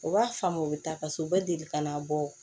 U b'a faamu u bɛ taa paseke u bɛ deli kana bɔ